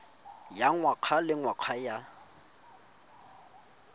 ya ngwaga le ngwaga ya